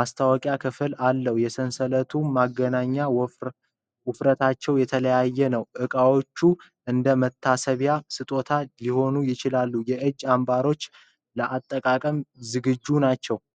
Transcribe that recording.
መታወቂያ ክፍል አለው። የሰንሰለቱ ማገናኛዎች ውፍረታቸው የተለያየ ነው። እቃዎች እንደ መታሰቢያ ስጦታ ሊሆኑ ይችላሉ። የእጅ አምባሮቹ ለአጠቃቀም ዝግጁ ናቸው።